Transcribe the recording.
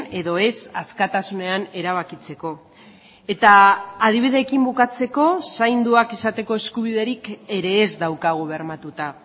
edo ez askatasunean erabakitzeko eta adibideekin bukatzeko zainduak izateko eskubiderik ere ez daukagu bermatuta